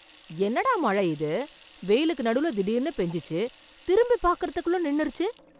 என்னடா மழை இது, வெயிலுக்கு நடுவுல திடீர்னு பெஞ்சுச்சு, திரும்பி பாக்கிறதுக்குள்ளே நின்னுருச்சு.